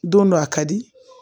Don dɔ a ka di